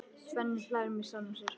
Svenni hlær með sjálfum sér.